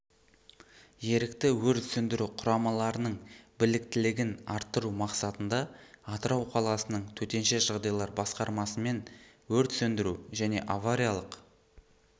ерікті өрт сөндіру құрамаларының біліктілігін арттыру мақсатында атырау қаласының төтенше жағдайлар басқармасымен өрт сөндіру және авариялық